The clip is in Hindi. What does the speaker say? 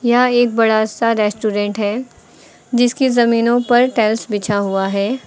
यह एक बड़ा सा रेस्टोरेंट है जिसकी जमीनों पर टाइल्स बिछा हुआ है।